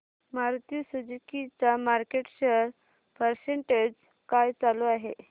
Maruti Suzuki चा market share percentage काय चालू आहे